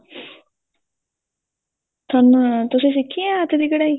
ਚੱਲ ਹੁਣ ਤੁਸੀਂ ਸਿੱਖੀ ਏ ਕਦੀ ਕਢਾਈ